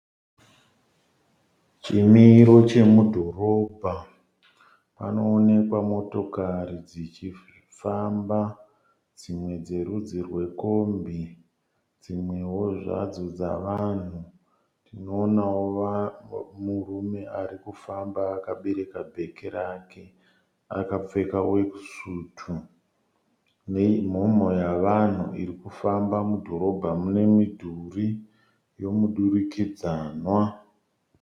Chimiro chomudhorobha. Panoonekwa motokari dzichifamba, dzimwe dzerudzi rwekombi, dzimwewo zvadzo dzavanhu. Tinoonawo murume ari kufamba akabereka bheki rake, akapfeka weki sutu nemhomho yevanhu iri kufamba mudhorobha mune mudhuri yemudirikidzanwa.